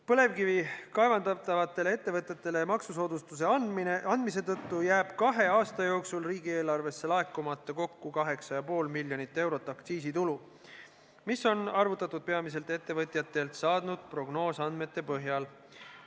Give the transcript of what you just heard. Põlevkivi kaevandavatele ettevõtetele maksusoodustuse andmise tõttu jääb kahe aasta jooksul riigieelarvesse laekumata kokku 8,5 miljonit eurot aktsiisitulu, mis on arvutatud peamiselt ettevõtjatelt saadud prognoosandmete põhjal.